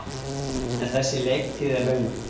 En þessi leiktíð er löng.